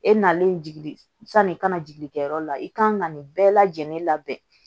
E nalen jigi sanni kana jigin kɛyɔrɔ la i kan ka nin bɛɛ lajɛlen labɛn